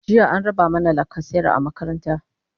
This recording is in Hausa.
jiya an raba mana lacasera a makaranta